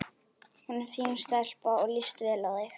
Hún er fín stelpa og líst vel á þig.